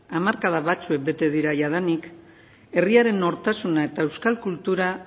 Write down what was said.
hamarkada batzuk bete dira jadanik herriaren nortasuna eta euskal kultura